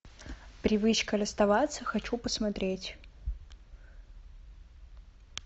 привычка расставаться хочу посмотреть